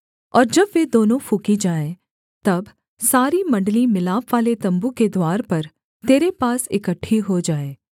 और जब वे दोनों फूँकी जाएँ तब सारी मण्डली मिलापवाले तम्बू के द्वार पर तेरे पास इकट्ठी हो जाएँ